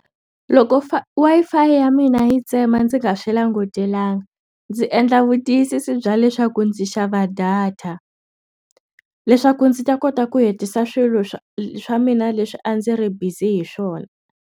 Loko fi Wi-Fi ya mina yi tsema ndzi nga swi langutelanga ndzi endla vutiyisisi bya leswaku ndzi xava data leswaku ndzi ta kota ku hetisa swilo swa swa mina leswi a ndzi ri bizi hi swona.